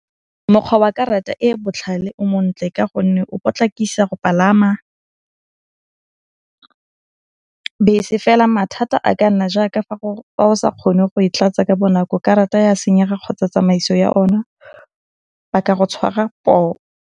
Mokgwa wa karata e botlhale o montle ka gonne o potlakisa go palama bese, fela mathata a ka nna jaaka fa o sa kgone go e tlatsa ka bonako, karata ya senyega kgotsa tsamaiso ya o na ba ka go tshwara poo.